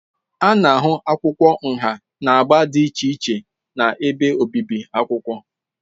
A na-ahụ akwụkwọ nha na agba dị iche iche na ebe obibi akwụkwọ.